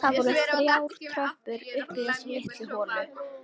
Það voru þrjár tröppur upp í þessa litlu holu.